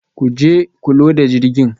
Ku je ku loda jirgin